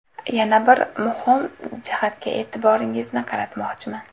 Yana bir muhim jihatga e’tiboringizni qaratmoqchiman.